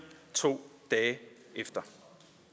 to dage efter